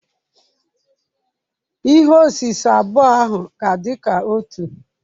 Ihe osise abụọ ahụ ga-adị ka otu.